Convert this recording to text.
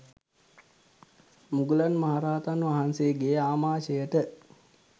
මුගලන් මහ රහතන් වහන්සේගේ ආමාශයට